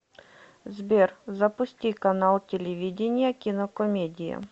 сбер запусти канал телевидения кинокомедия